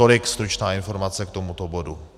Tolik stručná informace k tomuto bodu.